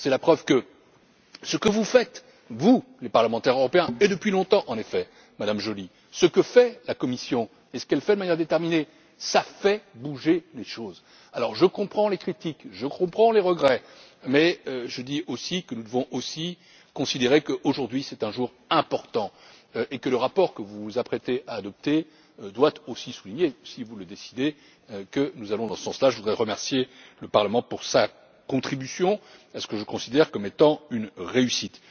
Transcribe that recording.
C'est la preuve que ce que vous faites, vous, les parlementaires européens, et depuis longtemps en effet Mme Joly, ce que fait la Commission et ce qu'elle fait de manière déterminée fait bouger les choses. Alors, je comprends les critiques, je comprends les regrets, mais je dis aussi que nous devons considérer qu'aujourd'hui est un jour important et que le rapport que vous vous apprêtez à adopter doit également souligner, si vous le décidez, que nous allons dans ce sens là. Je voudrais remercier le Parlement pour sa contribution à ce que je considère comme étant une réussite.